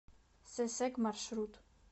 сэсэг маршрут